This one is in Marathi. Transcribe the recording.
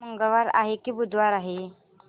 आज मंगळवार आहे की बुधवार